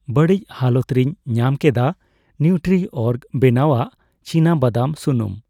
ᱵᱟᱹᱲᱤᱪ ᱦᱟᱞᱚᱛ ᱨᱮᱧ ᱧᱟᱢᱠᱮᱫᱟ ᱱᱤᱣᱴᱨᱤᱚᱨᱜ ᱵᱮᱱᱟᱣᱟᱜ ᱪᱤᱱᱟᱵᱟᱫᱟᱢ ᱥᱩᱱᱩᱢ